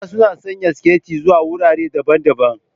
Mata suna sanya siket zuwa wurare daban-daban.